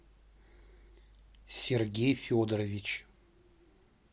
сергей федорович